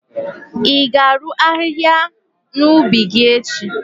i ga-arụ ahịhịa n'ubi gi echi?